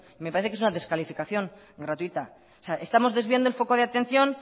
me parece que es una descalificación gratuita o sea estamos desviando el foco de atención